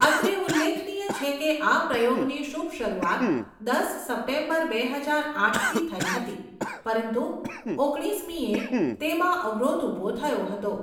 અત્રે ઉલ્લેખનીય છે કે આ પ્રયોગની શુભ શરૃવાત, દસ સપ્ટેમ્બર બે હજાર આઠ થી થઈ હતી, પરંતુ ઓગણીસમીએ તેમાં અવરોધ ઊભો થયો હતો.